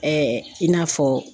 i n'a fɔ